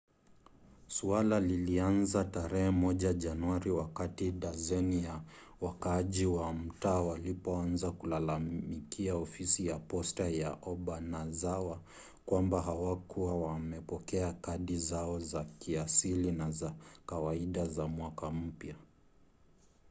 suala lilianza tarehe moja januari wakati dazeni za wakaaji wa mtaa walipoanza kulalamikia ofisi ya posta ya obanazawa kwamba hawakuwa wamepokea kadi zao za kiasili na za kawaida za mwaka mpya